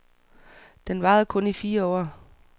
Den varede kun i fire år.